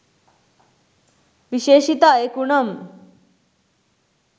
විශේෂිත අයකු නම්